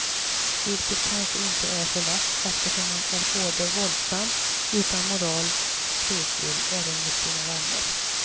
Vilket kanske inte är så lätt eftersom han är både våldsam, utan moral och svekfull även mot sina vänner.